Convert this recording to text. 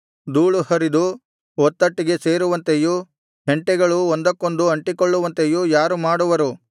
ಧೂಳು ಹರಿದು ಒತ್ತಟ್ಟಿಗೆ ಸೇರುವಂತೆಯೂ ಹೆಂಟೆಗಳು ಒಂದಕ್ಕೊಂದು ಅಂಟಿಕೊಳ್ಳುವಂತೆಯೂ ಯಾರು ಮಾಡುವರು